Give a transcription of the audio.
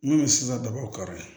N'o ye sisan daba kari